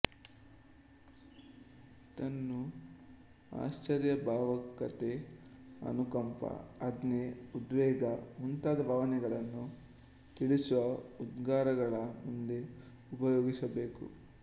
ಇದನ್ನು ಆಶ್ಚರ್ಯ ಭಾವುಕತೆ ಅನುಕಂಪ ಆಜ್ಞೆ ಉದ್ವೇಗ ಮುಂತಾದ ಭಾವನೆಗಳನ್ನು ತಿಳಿಸುವ ಉದ್ಗಾರಗಳ ಮುಂದೆ ಉಪಯೋಗಿಸಬೇಕು